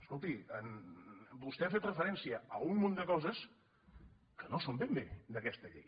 escolti vostè ha fet referència a un munt de coses que no són ben bé d’aquesta llei